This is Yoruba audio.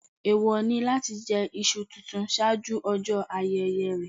Èèwọ̀ ni láti jẹ iṣu tuntun ṣáájú ọjọ́ ayẹyẹ rẹ̀.